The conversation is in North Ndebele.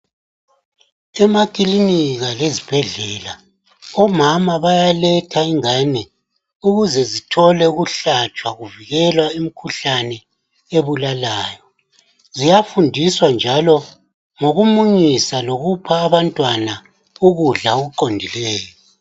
Emakilinika lezibhedlela omama bayaletha ingane ukuze zithole ukuhlatshwa kuvikelwa imikhuhlane ebulalayo ziyafundiswa njalo ngokumunyisa lokupha abantwana ukudla okuqondileyo.